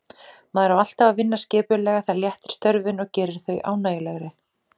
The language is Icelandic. Maður á alltaf að vinna skipulega, það léttir störfin og gerir þau ánægjulegri.